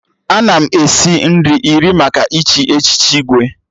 Ana m esi nri iri maka ịchị echiche Igwe